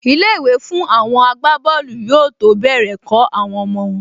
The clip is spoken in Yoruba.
Ilé-ìwé fún àwọn agbábọ́ọ̀lù yóò tó bẹ̀rẹ̀ kọ́ àwọn ọmọ